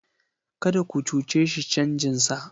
Kada ku cuce shi canjinsa!